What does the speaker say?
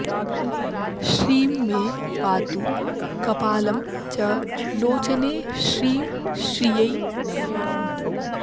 श्रीं मे पातु कपालं च लोचने श्रीं श्रियै नमः